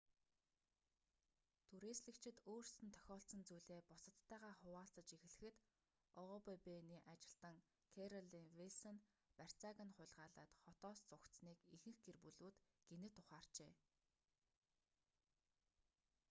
түрээслэгчид өөрсдөд нь тохиолдсон зүйлээ бусадтайгаа хуваалцаж эхлэхэд обб-ны ажилтан кэролин вилсон барьцааг нь хулгайлаад хотоос зугатсаныг ихэнх гэр бүлүүд гэнэт ухаарчээ